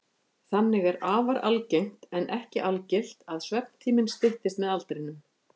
Þannig er afar algengt, en ekki algilt, að svefntíminn styttist með aldrinum.